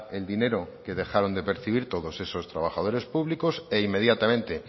el dinero que dejaron de percibir todos esos trabajadores públicos e inmediatamente